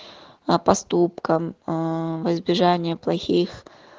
а поступкам во избежание плохих